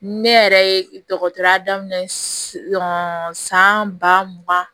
Ne yɛrɛ ye dɔgɔtɔrɔya daminɛ san ba mugan